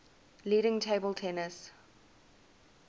leading table tennis